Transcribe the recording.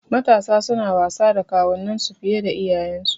Matasa suna wasa da kawunan su fiye da iyayensu